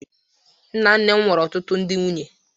Nna nna m nwere ọtụtụ ndị nwunye.